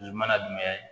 I mana jumɛn ye